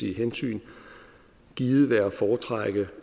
hensyn givet være at foretrække